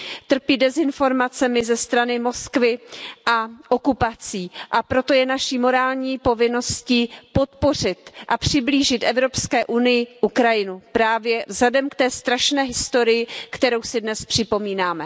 trpí dezinformacemi ze strany Moskvy a okupací, a proto je naší morální povinností podpořit a přiblížit Evropské unii Ukrajinu, právě vzhledem k té strašné historii, kterou si dnes připomínáme.